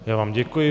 Já vám děkuji.